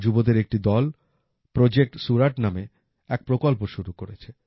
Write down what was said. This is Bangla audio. যুবদের একটি দল প্রজেক্ট সুরাট নামে এক প্রকল্প শুরু করেছে